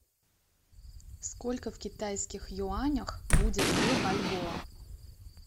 сколько в китайских юанях будет две бальбоа